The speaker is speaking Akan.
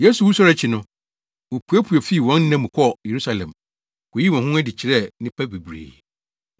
Yesu wusɔre akyi no, wopuepue fii wɔn nna mu kɔɔ Yerusalem, koyii wɔn ho adi kyerɛɛ nnipa bebree.